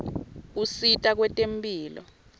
usita kwetemphilo